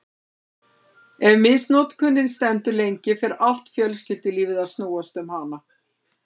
Ef misnotkunin stendur lengi fer allt fjölskyldulífið að snúast um hana.